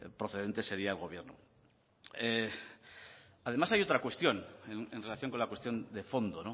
procedente seria el gobierno además hay otra cuestión en relación con la cuestión de fondo